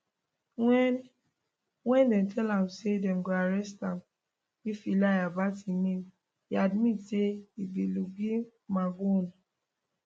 wen wen dem tell am say dem go arrest am if e lie about im name e admit say e be luigi mangione